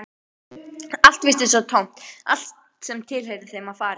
Allt virtist svo tómt, allt sem tilheyrði þeim var farið.